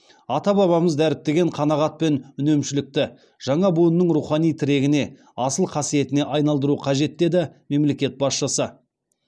ата бабамыз дәріптеген қанағат пен үнемшілдікті жаңа буынның рухани тірегіне асыл қасиетіне айналдыру қажет деді мемлекет басшысы